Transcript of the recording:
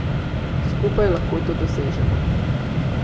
Skupaj lahko to dosežemo.